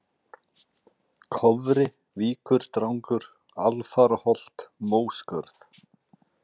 Kofri, Víkurdrangur, Alfaraholt, Móskörð